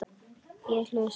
Ég hlusta.